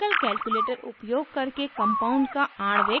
chemical calculator उपयोग करके compound का आणविक भार ज्ञात करना